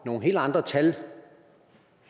nogle helt andre tal